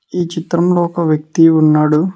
ఈ చిత్రంలో ఒక వ్యక్తి ఉన్నాడు.